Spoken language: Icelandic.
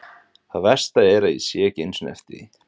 Það versta er að ég sé ekki einu sinni eftir því.